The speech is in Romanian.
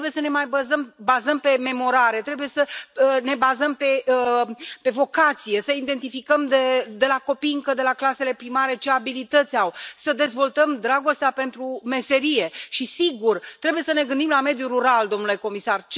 Nu trebuie să ne mai bazăm pe memorare, trebuie să ne bazăm pe vocație, să identificăm încă din clasele primare ce abilități au copiii, să dezvoltăm dragostea pentru meserie și, sigur, trebuie să ne gândim la mediul rural, domnule comisar.